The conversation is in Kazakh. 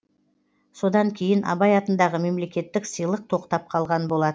содан кейін абай атындағы мемлекеттік сыйлық тоқтап қалған болатын